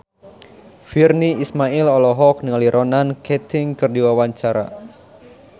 Virnie Ismail olohok ningali Ronan Keating keur diwawancara